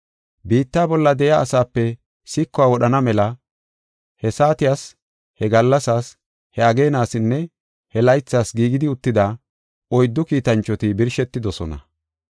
Biitta bolla de7iya asaape sikuwa wodhana mela he saatiyas, he gallasaas, he ageenasinne he laythas giigidi uttida oyddu kiitanchoti birshetidosona.